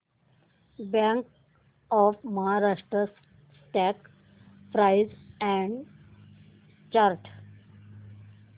bank of Maharashtra stock price and chart